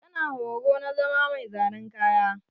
Tana horo na zama mai zanen kaya.